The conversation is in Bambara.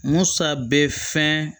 Musa bɛ fɛn